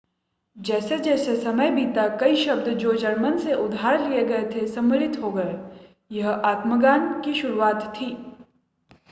जैसे-जैसे समय बीता कई शब्द जो जर्मन से उधार लिए गए थे सम्मिलित हो गए यह आत्मज्ञान की शुरुआत थी